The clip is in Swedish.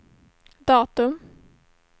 datum